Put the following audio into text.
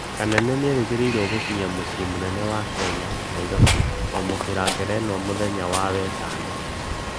Kanene nĩerĩgĩrĩrwo gũkĩnya mucĩĩ mũnene wa Kenya Nairobi kwamũkĩra ngerenwa mũthenya wa wetano